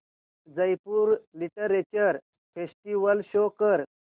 Jaipur literature festival show कर